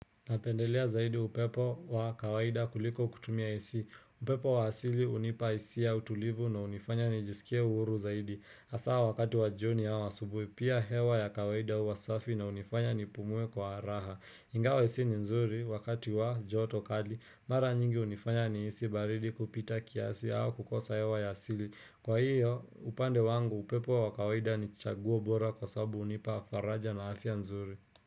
Napendelea zaidi upepo wa kawaida kuliko kutumia Ac, upepo wa asili hunipa hisia ya utulivu na hunifanya nijisikie huru zaidi. Hasa wakati wa jioni au asubuhi pia hewa ya kawaida huwa safi na hunifanya nipumue kwa raha ingawa Ac ni nzuri wakati wa joto kali, mara nyingi hunifanya nihisi baridi kupita kiasi au kukosa hewa ya asili Kwa hiyo upande wangu upepo wa kawaida ni chaguo bora kwa sababu hunipa faraja na afya nzuri.